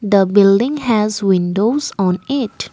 the building has windows on it.